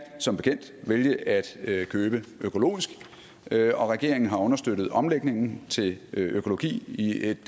som bekendt vælge at købe økologisk og regeringen har understøttet omlægningen til økologi i et